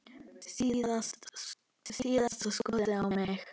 Síðasta skotið á mig.